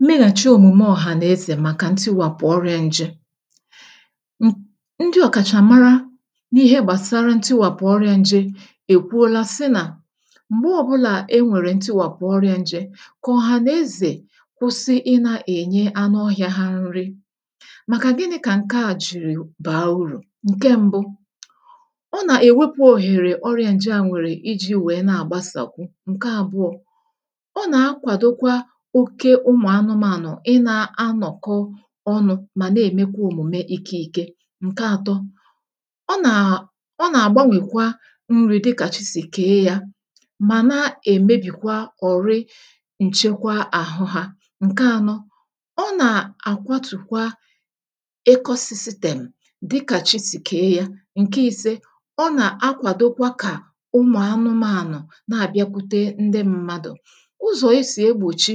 mmeghàchị òmùme ọ̀hànàezè màkà ntiwàpụ̀ ọrị̇ȧ nje ndị ọ̀kàchà mara n’ihe gbàsara ntiwàpụ̀ ọrị̇ȧ nje èkwuola sị nà m̀gbe ọbụlà e nwèrè ntiwàpụ ọrị̇ȧ nje kà ọhànàezè kwụsị ịnȧ-ènye anụ ohị̇ȧ ha nrị màkà gịnị̇ kà nke à jìrì bàa urù ǹke mbu ụmụ̀anụmȧnụ̀ ị nȧ anọ̀kọ ọnụ̇ mà nà-èmekwa òmùme ike ike ǹke atọ ọ nà ọ nà-àgbanwèkwa nri̇ dịkà chi sì kèe yȧ mà na-èmebìkwa ọ̀rị nchekwa àhụ hȧ ǹke ànọ ọ nà-àkwatùkwa ekọsịsịtèm dịkà chi sì kèe yȧ ǹke i̇se ọ nà-akwàdokwa kà ụmụ̀anụmȧnụ̀ na-àbịakwute ndị ṁmȧdụ̀ ụzọ̀ esì egbòchi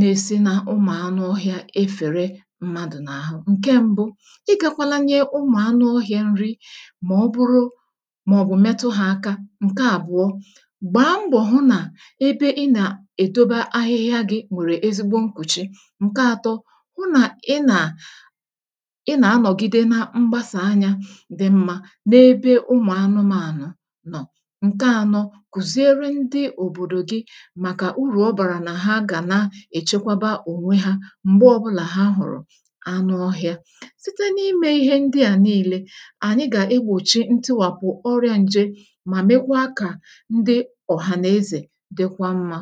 na-esi n’ụmụ̀anụ ọhịȧ efère mmadụ̀ n’àhụ, ǹke ṁbụ̇ igȧkwala nye ụmụ̀anụ ọhịȧ nri mà ọ bụrụ màọ̀bụ̀ metụ hȧ aka ǹke àbụ̀ọ gbaa mbọ̀ hụ nà ebe ị nà-èdobe ahịhịa gị̇ nwèrè ezigbo nkwùchi ǹke ȧtọ̇ hụ nà ị nà ị nà-anọ̀gide na mgbasà anya dị mmȧ n’ebe ụmụ̀anụmȧnụ nọ̀ ǹke ȧnọ̇ èchekwaba ònwe hȧ m̀gbè ọbụlà ha hụ̀rụ̀ anụ ọhị̇ȧ, site n’imė ihe ndị à nii̇lė ànyị gà-egbòchi ntịwàpụ̀ ọrị̇ȧ nje mà mekwaa kà ndị ọ̀hànàezè dịkwa mmȧ